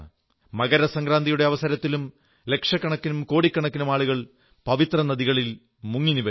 മകരസംക്രാന്തിയുടെ അവസരത്തിലും ലക്ഷക്കണക്കിനും കോടിക്കണക്കിനും ആളുകൾ പവിത്ര നദികളിൽ മുങ്ങിനിവരുന്നു